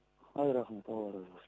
ай рахмет алла разы болсын